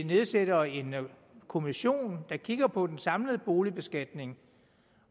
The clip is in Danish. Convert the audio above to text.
nedsætter en kommission der kigger på den samlede boligbeskatning